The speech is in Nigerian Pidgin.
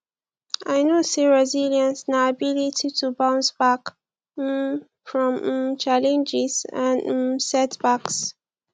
i know say resilience na ability to bounce back um from um challenges and um setbacks